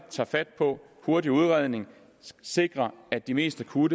tager fat på hurtig udredning og sikrer at de mest akutte